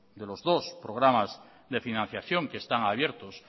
de los dos programas de financiación que están abiertos